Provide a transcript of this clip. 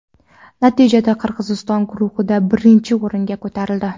Natijada Qirg‘iziston guruhda birinchi o‘ringa ko‘tarildi.